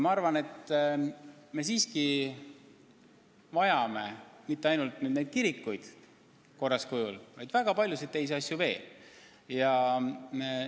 Me siiski vajame mitte ainult neid kirikuid korras kujul, vaid väga paljusid teisi asju veel.